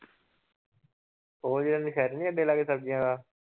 ਉਹ ਜਿਹੜਾ ਅੱਡੇ ਲਾਗੇ ਸਬਜ਼ੀਆਂ ਵਾਲਾ